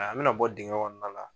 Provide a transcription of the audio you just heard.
A a bɛ na bɔ dingɛ kɔnɔna la.